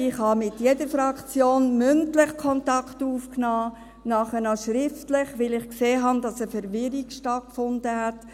Ich habe mit jeder Fraktion mündlich Kontakt aufgenommen, danach auch noch schriftlich, weil ich gesehen habe, dass wegen dieser ersten Ablehnung eine Verwirrung stattgefunden hat.